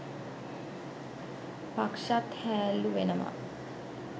පක්ෂත් හෑල්ලු වෙනවා